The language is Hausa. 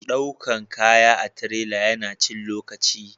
daukan kaya da tirela ya na cin lokaci